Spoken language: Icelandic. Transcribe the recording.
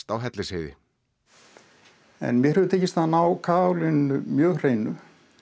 á Hellisheiði mér hefur tekist að ná mjög hreinu